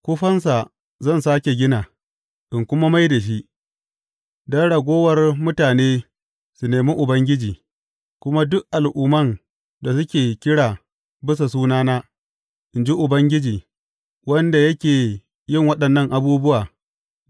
Kufansa zan sāke gina, in kuma mai da shi, don ragowar mutane su nemi Ubangiji, kuma duk Al’umman da suke kira bisa sunana, in ji Ubangiji, wanda yake yin waɗannan abubuwa’